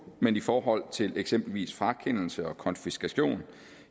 men i forhold til eksempelvis frakendelse og konfiskation